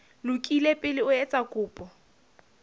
lokile pele o etsa kopo